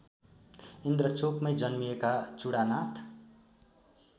इन्द्रचोकमै जन्मिएका चुडानाथ